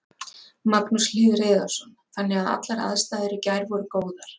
Magnús Hlynur Hreiðarsson: Þannig að allar aðstæður í gær voru góðar?